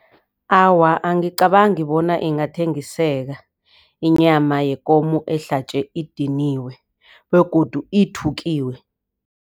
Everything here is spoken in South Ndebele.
Awa, angicabangi bona ingathengiseka inyama yekomo ehlatjwe idiniwe begodu ithukiwe.